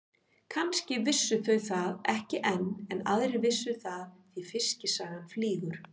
Kannski vissu þau það ekki enn en aðrir vissu það því fiskisagan flýgur.